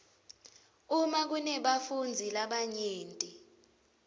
uma kunebafundzi labanyenti